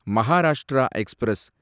Maharashtra express